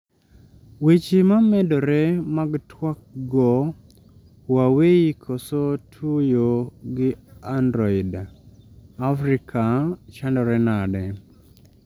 weche mamedore mag twak go Huawei koso tuyo gi Android: Afrika chandore nadi?